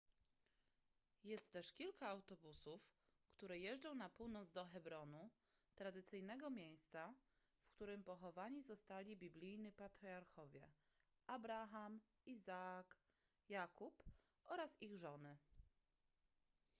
jest też kilka autobusów które jeżdżą na północ do hebronu tradycyjnego miejsca w którym pochowani zostali biblijni patriarchowie abraham izaak jakub oraz ich żony